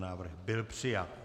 Návrh byl přijat.